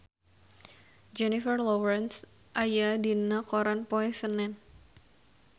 Jennifer Lawrence aya dina koran poe Senen